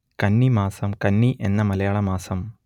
കന്നി മാസം കന്നി എന്ന മലയാള മാസം